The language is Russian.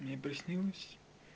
мне приснилось